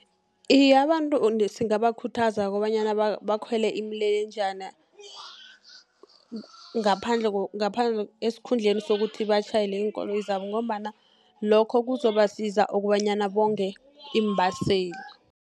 Iye abantu singakhuthaza kobanyana bakhwele imilelenjana esikhundleni sokuthi batjhayele iinkoloyi zabo, ngombana lokho kuzobasiza kobanyana bonge iimbaseli.